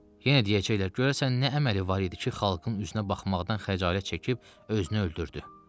Yenə deyəcəklər görəsən nə əməli var idi ki, xalqın üzünə baxmaqdan xəcalət çəkib özünü öldürdü.